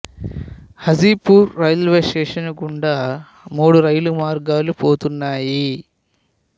Hajipur railway station గుండా మూడు రైలు మార్గాలు పోతున్నాయి